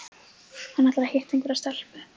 Hann ætlar að hitta einhverja stelpu